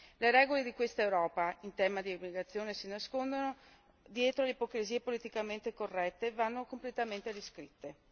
Le regole di questa Europa in tema di integrazione si nascondono dietro le ipocrisie politicamente corrette e vanno completamente riscritte.